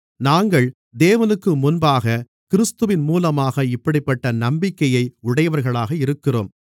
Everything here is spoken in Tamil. நாங்கள் தேவனுக்கு முன்பாகக் கிறிஸ்துவின் மூலமாக இப்படிப்பட்ட நம்பிக்கையை உடையவர்களாக இருக்கிறோம்